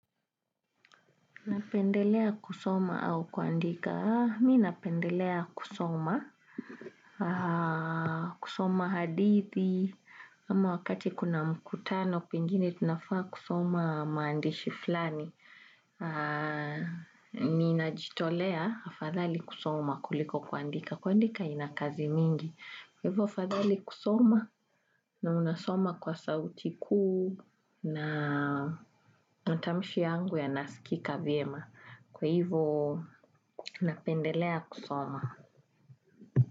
Napendelea kusoma au kuandika? Mimi napendelea kusoma, kusoma hadithi, ama wakati kuna mkutano, pengine tunafaa kusoma maandishi fulani. Ninajitolea, afadhali kusoma kuliko kuandika, kuandika inakazi mingi. Kwa hivyo afadhali kusoma na unasoma kwa sauti kuu na matamishi yangu yanasikika vyema. Kwa hivyo ninapendelea kusoma.